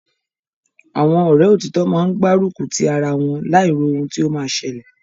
Àwọn Ọ̀rẹ́ òtítọ́ máa ń gbá rùkùtí ara wọn, láì ro ohun tí ó ma ṣẹlẹ̀